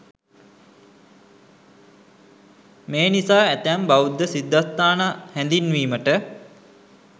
මේ නිසා ඇතැම් බෞද්ධ සිද්ධස්ථාන හැඳින්වීමට